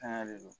Tanga de don